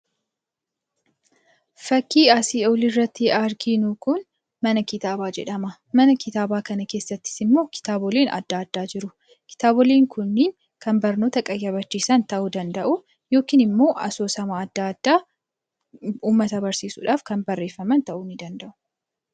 Fakkiin asii gaditti arginu kun mana kitaabaa jedhama. Mana kitaabaa kana keessattis immoo kitaaboleen adda addaa jiru. Kitaaboleen kunneen kan nama qayyabachiisan ta'uu danda'u yookiin immoo asoosama adda addaa uummata barsiisuudhaaf kan barreeffaman ta'uu ni danda'u.